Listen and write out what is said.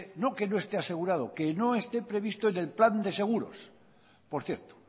no que no esté asegurado que no esté previsto en el plan de seguros por cierto